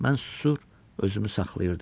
Mən susur, özümü saxlayırdım.